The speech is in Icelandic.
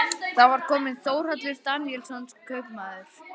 Þar var kominn Þórhallur Daníelsson kaupmaður.